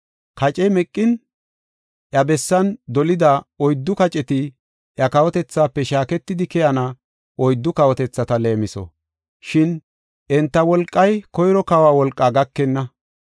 Kace meqin iya bessan dolida oyddu kaceti iya kawotethaafe shaaketidi keyana oyddu kawotethata leemiso. Shin enta wolqay koyro kawa wolqaa gakenna.